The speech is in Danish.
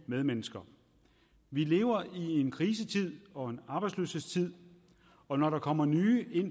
medmennesker vi lever i en krisetid og en arbejdsløshedstid og når der kommer nye